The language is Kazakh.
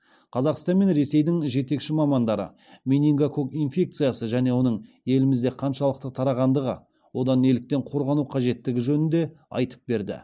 қазақстан мен ресейдің жетекші мамандары менингококк инфекциясы және оның елімізде қаншалықты тарағандығы одан неліктен қорғану қажеттігі жөнінде айтып берді